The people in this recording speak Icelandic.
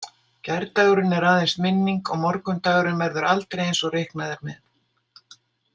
Gærdagurinn er aðeins minning og morgundagurinn verður aldrei eins og reiknað er með.